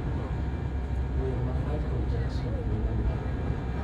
Wer ma Michael Jackson nogolo